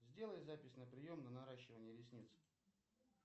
сделай запись на прием на наращивание ресниц